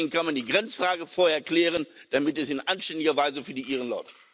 Aber deswegen kann man die Grenzfrage vorher klären, damit es in anständiger Weise für die Iren läuft.